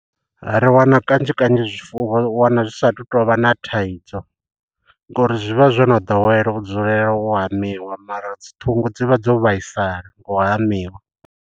Ri wana kanzhi kanzhi zwifuwo u wana zwi sathu tovha na thaidzo ngo uri zwi vha zwo no ḓowela u dzulela u hamiwa mara dzi ṱhungu dzi vha dzo vhaisala nga u hamiwa.